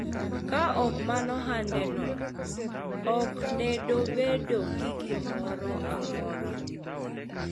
ka ok mana ohande no, ok ne dobedo gi gimoro amora